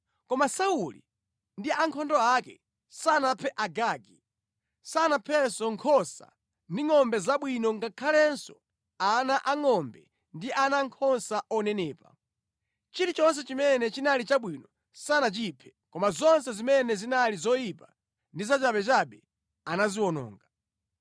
Koma Sauli ndi ankhondo ake sanaphe Agagi, sanaphenso nkhosa ndi ngʼombe zabwino ngakhalenso ana angʼombe ndi ana ankhosa onenepa. Chilichonse chimene chinali chabwino sanachiphe. Koma zonse zimene zinali zoyipa ndi zachabechabe anaziwononga.